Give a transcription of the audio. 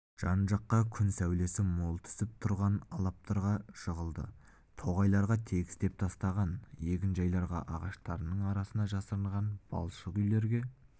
жан-жаққа күн сәулесі мол түсіп тұрған алаптарға жығылды тоғайларға тегістеп тастаған егінжайларға ағаштарының арасына жасырынған балшық үйлерге